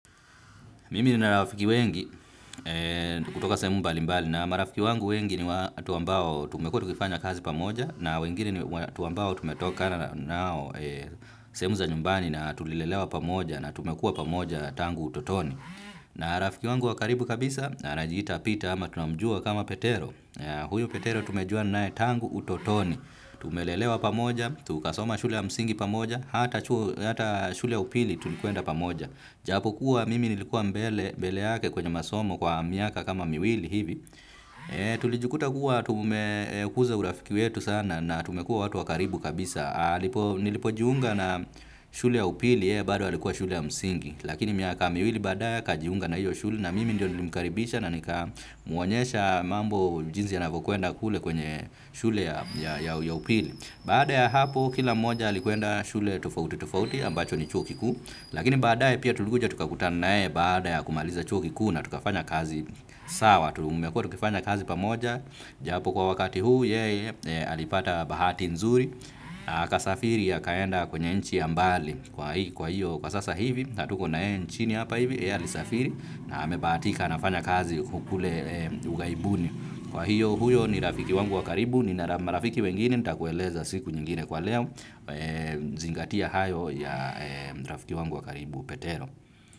Mimi nina rafiki wengi kutoka sehemu mbali mbali na marafiki wangu wengi ni watu ambao tumekuwa tukifanya kazi pamoja na wengine ni watu ambao tumetoka na nao sehemu za nyumbani na tulilelewa pamoja na tumekuwa pamoja tangu utotoni. Na rafiki wangu wakaribu kabisa anajiita pita ama tunamjua kama petero. Huyo petero tumejuana nae tangu utotoni. Tumelelewa pamoja, tukasoma shule ya msingi pamoja, hata chuo, shule ya upili tulikwenda pamoja. Ijapokuwa mimi nilikuwa mbele yqke kwenye masomo kwa miaka kama miwili hivi tulijikuta kuwa tumekuza urafiki wetu sana na tumekuwa watu wa karibu kabisa. Nilipojiunga na shule ya upili yeye bado alikuwa shule ya msingi. Lakini miaka miwili baadae akajiunga na hiyo shule na mimi ndio nilimkaribisha na nikamuonyesha mambo jinsi yanavyokwenda kule kwenye shule ya upili, baada ya hapo kila mmoja alikeenda shule tofauti tofauti ambacho ni chuo kikuu. Lakini baadae pia tulikuja tukakutanae baada ya kumaliza chuo kikuu na tukafanya kazi sawa, tumekuwa tukifanya kazi pamoja, japo kwa wakati huu, yeye alipata bahati nzuri, na akasafiri akaenda kwenye nchi ya mbali. Lakini baadae pia tulikuja tukakuta na yeye baada ya kumaliza chuo kikuu na tukafanya kazi sawa, tukifanya kazi pamoja, japo kwa wakati huu, alipata bahati nzuri, na akasafiri akaenda kwenye nchi ya mbali. Kwa hiyo kwa sasa hivi hatuko na yeye nchini na amebahatika anafanya kazi kule ughaibuni. Kwahiyo, kwa sasa hivi, hatuko naye nchini hapa hivi, yeye alisafiri, na amebahatika anafanya kazi kule ughaibuni.